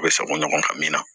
U bɛ sago ɲɔgɔn ka min na